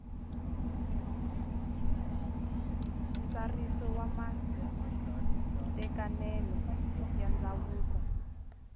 ntsariso wa matekanelo ya ndzhavuko